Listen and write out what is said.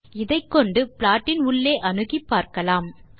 இதைக்கொண்டு ப்லாட்டின் உள்ளே அணுகிப் பார்க்கலாம்